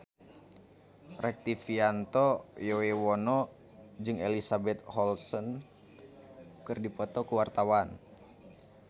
Rektivianto Yoewono jeung Elizabeth Olsen keur dipoto ku wartawan